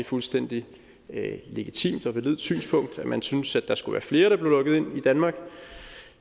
fuldstændig legitimt og validt synspunkt at man synes at der skulle være flere der blev lukket ind i danmark og